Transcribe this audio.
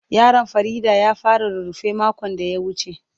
Yaron Fareedah ya fara rurrufe makon da ya wuce.